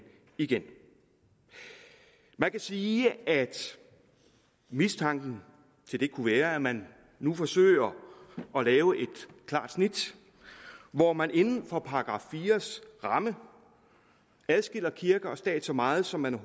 igen man kan sige at mistanken til det kunne være at man nu forsøger at lave et klart snit hvor man inden for § fire ramme adskiller kirke og stat så meget som man